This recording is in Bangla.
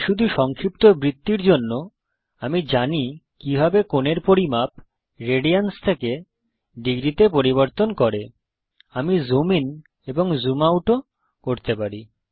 তাই শুধু সংক্ষিপ্তবৃত্তির জন্য আমি জানি কিভাবে কোণের পরিমাপ রেডিয়ানস থেকে ডিগ্রী তে পরিবর্তন করে আমি জুম ইন এবং জুম আউট ও করতে পারি